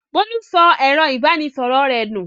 Bólú sọ ẹ̀rọ-ìbánisọ̀rọ̀ rẹ̀ nù.